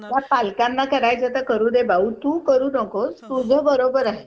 Helllo Anita!